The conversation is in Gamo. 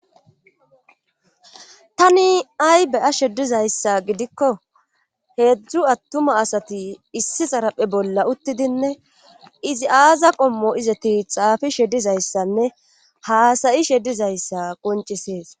Tani ay beya shedizayssa gidikko heedzdzu attuma asati issi xaraphe bolla uttidinne izi aaza qommo izati xaafi shedizayssanne haasayi shedizayssa qoncisees